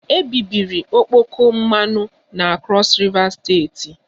Ebibiri okpoko mmanụ na Crọs Riva steeti